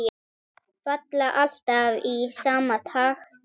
Falla alltaf í sama takti.